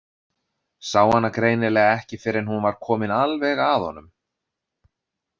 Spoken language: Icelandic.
Sá hana greinilega ekki fyrr en hún var komin alveg að honum.